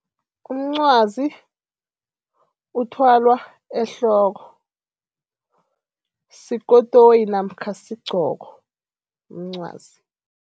Umncwazi uthwalwa ehloko, sikotoyi namkha sigqoko umncwazi.